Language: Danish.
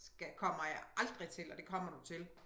Kommer jeg aldrig til og det kommer du til